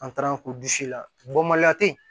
An taara k'u disi la